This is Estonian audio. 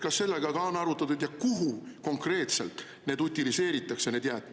Kas sellega on arvestatud ja kuhu konkreetselt need jäätmed utiliseeritaks?